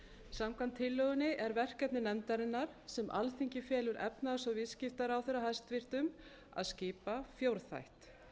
samkvæmt tillögunni er verkefni nefndarinnar sem alþingi felur efnahags og viðskiptaráðherra hæstvirtur að skipa fjórþætt